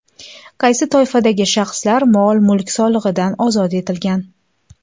Qaysi toifadagi shaxslar mol-mulk solig‘idan ozod etilgan?.